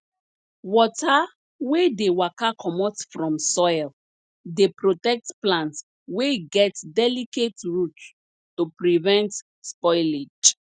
water wey dey waka comot from soil dey protect plants wey get delicate roots to prevent spoilage